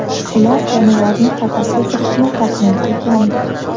Ular jonivorning qafasga kirishini taxmin qilgandi.